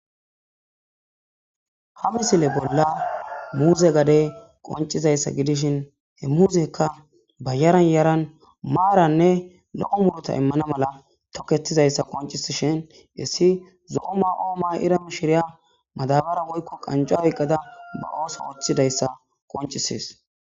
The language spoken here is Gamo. ha misile bolla muuze gade qoncizayssa gidishin he muuzekka bayaran yaran maaranne lo7o mulota immana mala toketizayssa qoncisishin issi zo7omma oo ma iram shiriya madabara woykko qanca oyqqada ba ooso ooththidayssa qoncisees